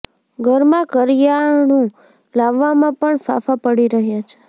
ગરમાં કરીયાણું લાવવામાં પણ ફાંફા પડી રહ્યા છે